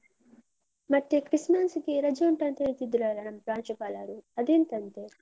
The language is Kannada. ಮತ್ತೆ ಕ್ರಿಸ್ಮಸ್ ಗೆ ರಜೆ ಉಂಟ ಅಂತ ಹೇಳ್ತಿದ್ರಲ್ಲ ನಮ್ ಪ್ರಾಂಶುಪಾಲರು, ಅದೆಂತಂತೆ?